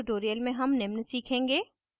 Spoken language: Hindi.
इस tutorial में हम निम्न सीखेंगे